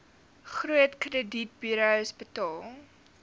groot kredietburos betaal